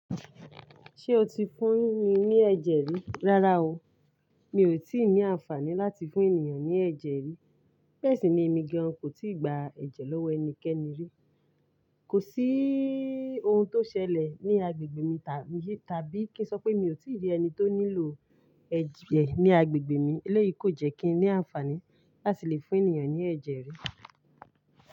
Ṣé o ti fún mi ní ẹ̀jẹ̀ rí? Rárá o, mi ò tí ì ní àǹfààní láti fún ènìyàn ní ẹ̀jẹ̀ rí. Bẹ́ẹ̀ sì ni èmi gan kò tíì gba ẹ̀jẹ̀ lọ́wọ́ ẹnikẹ́ni rí. Kò sí ohun tó ṣẹlẹ̀ ní agbègbè mi tàbí kí n sọ pé mi ò tí ì rí ẹni tó nílò ẹ̀jẹ̀ ní agbègbè mi. Elẹ́yìí kò jẹ́ kí n ní àǹfààní láti lè fún ènìyàn ní ẹ̀jẹ̀ rí.